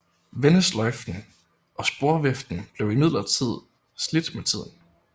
Vendesløjfen og og sporviften blev imidlertid slidt med tiden